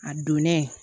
A donnen